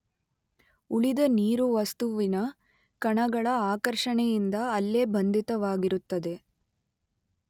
ಉಳಿದ ನೀರು ವಸ್ತುವಿನ ಕಣಗಳ ಆಕರ್ಷಣೆಯಿಂದ ಅಲ್ಲೇ ಬಂಧಿತವಾಗಿರುತ್ತದೆ.